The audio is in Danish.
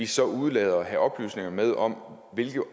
så udelader at have oplysninger med om hvilke